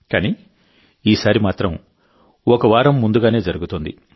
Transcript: కానీ ఈసారి మాత్రం ఒకవారం ముందుగానే జరుగుతోంది